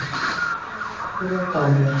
ef að ég væri að fá mér.